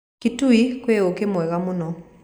Kitui kwĩ ũũkĩ mwega mũno